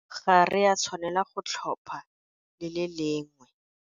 Ga re a tshwanela go tlhopha le le lengwe.